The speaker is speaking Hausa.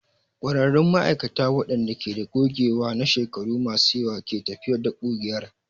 ƙwararrun ma'aikata waɗanda ke da gogewa na shekaru masu yawa ne ke tafiyar da ƙugiyar.